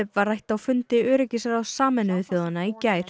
var rætt á fundi öryggisráðs Sameinuðu þjóðanna í gær